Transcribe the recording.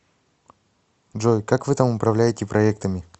джой как вы там управляете проектами